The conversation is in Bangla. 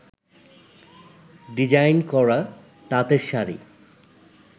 ডিজাইন করা তাঁতের শাড়ি